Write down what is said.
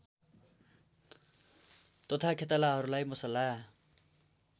तथा खेतालाहरूलाई मसला